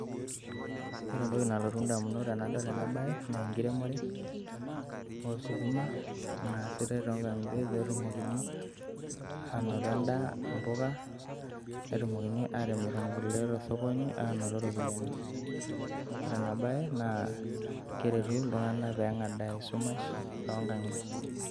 Ore entoki nalotu indamunot tenadol bae, naa inkeremore oosukuma kuna easita toonkankitie peetumoki aanoto endaa imbuka, netumokini aatimir inkulie tosokoni peetumoki aanoto iropiyiani. Ore ena bae naakeretu iltunganak pee enkadaa esumash toonkankitie.